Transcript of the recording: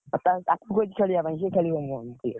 ତାହେଲେ ତାକୁ କହିଛି ଖେଳିବା ପାଇଁ ।